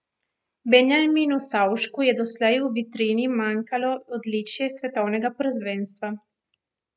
Benjaminu Savšku je doslej v vitrini manjkalo odličje s svetovnega prvenstva.